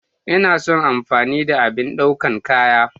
Ina son amfani da abin daukan kaya.